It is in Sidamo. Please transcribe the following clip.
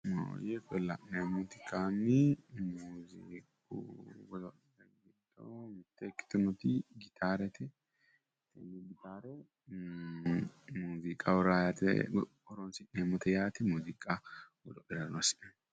La'neemmoti kayinni muuziiqu goda'la giddo mitte ikkitinoti gitaarete. Gitaare muuziiqaho raa yaate horoonsi'neemmote yaate. Muuziiqa loosi'nayi.